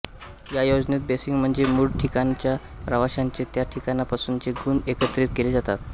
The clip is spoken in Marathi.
या योजनेत बेसिक म्हणजे मूळ ठिकाणच्या प्रवाश्यांचे त्या ठिकाणापासुनचे गुण एकत्रित केले जातात